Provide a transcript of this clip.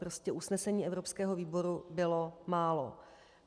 Prostě usnesení evropského výboru bylo málo.